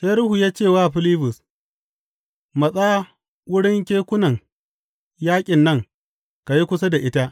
Sai Ruhu ya ce wa Filibus, Matsa wurin kekunan yaƙin nan ka yi kusa da ita.